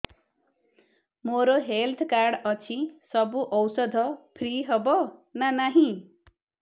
ମୋର health card ଅଛି ସବୁ ଔଷଧ ଫ୍ରି ହବ ନା ନାହିଁ